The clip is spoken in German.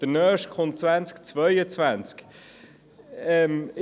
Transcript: der nächste folgt 2022.